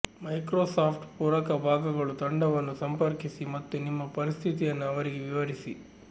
Microsoft ಪೂರಕ ಭಾಗಗಳು ತಂಡವನ್ನು ಸಂಪರ್ಕಿಸಿ ಮತ್ತು ನಿಮ್ಮ ಪರಿಸ್ಥಿತಿಯನ್ನು ಅವರಿಗೆ ವಿವರಿಸಿ